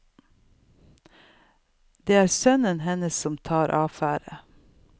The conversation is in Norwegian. Det er sønnene hennes som tar affære.